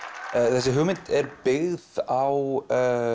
þessi hugmynd er byggð á